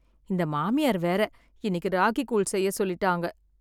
இந்த மாமியார் வேற இன்னிக்கு ராகிகூழ் செய்ய சொல்லிட்டாங்க.